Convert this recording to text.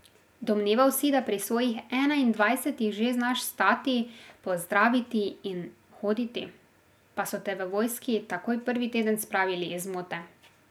Domneval si, da pri svojih enaindvajsetih že znaš stati, pozdraviti in hoditi, pa so te v vojski takoj prvi teden spravili iz zmote.